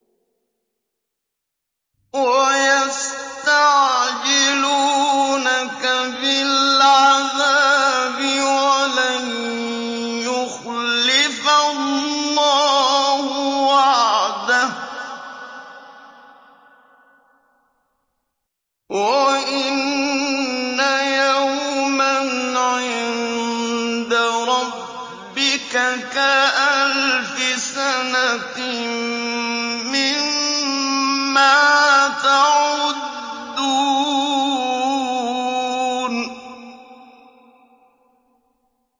وَيَسْتَعْجِلُونَكَ بِالْعَذَابِ وَلَن يُخْلِفَ اللَّهُ وَعْدَهُ ۚ وَإِنَّ يَوْمًا عِندَ رَبِّكَ كَأَلْفِ سَنَةٍ مِّمَّا تَعُدُّونَ